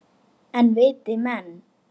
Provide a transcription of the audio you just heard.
En viti menn!